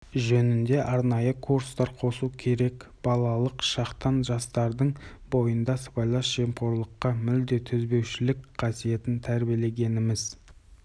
жөнінде арнайы курстар қосу керек балалық шақтан жастардың бойында сыбайлас жемқорлыққа мүлде төзбеушілік қасиетін тәрбиелегеніміз